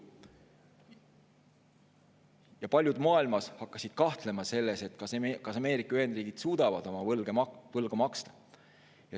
Ja paljud maailmas hakkasid kahtlema selles, kas Ameerika Ühendriigid suudavad oma võlga maksta.